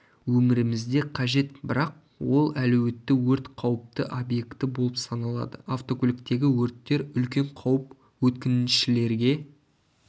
өмірімізде қажет бірақ ол әлеуетті өрт қауіпті объекті болып саналады автокөліктегі өрттер үлкен қауіп өткіншілерге